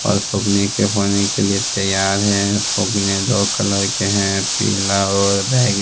और फगुने के लिए तैयार हैं फगुने दो कलर के हैं पीला और बैंग--